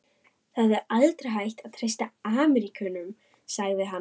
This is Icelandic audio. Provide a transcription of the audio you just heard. Það er aldrei hægt að treysta Ameríkönum sagði hann.